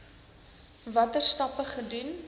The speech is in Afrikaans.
watter stappe gedoen